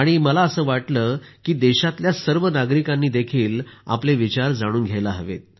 मला असं वाटलं की देशातल्या सर्व नागरिकांनी आपले विचार जाणून घ्यायला हवेत